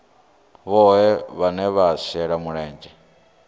vhohe vhane vha shela mulenzhe